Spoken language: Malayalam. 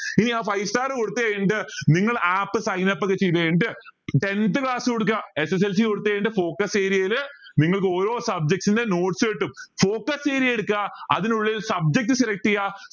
ഇനി ആ five star കൊടുത്ത് കഴിഞ്ഞിട്ട് നിങ്ങൾ app sign up ഒക്കെ ചെയ്ത് കഴിഞ്ഞിട്ട് tenth class കൊടുക്ക SSLC കൊടുത്ത കഴിഞ്ഞിട്ട് focus area യിൽ നിങ്ങൾക്ക് ഓരോ subject ന്റെയും notes കിട്ടും focus area എടുക്ക അതിനുള്ളിൽ subject select ചെയ